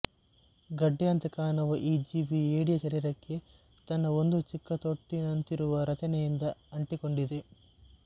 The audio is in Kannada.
ಗಡ್ಡೆಯಂತೆ ಕಾಣುವ ಈ ಜೀವಿ ಏಡಿಯ ಶರೀರಕ್ಕೆ ತನ್ನ ಒಂದು ಚಿಕ್ಕ ತೊಟ್ಟಿನಂತಿರುವ ರಚನೆಯಿಂದ ಅಂಟಿಕೊಂಡಿದೆ